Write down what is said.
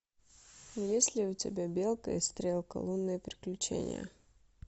есть ли у тебя белка и стрелка лунные приключения